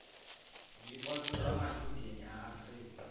zwipotso zwa matshudeni a afurika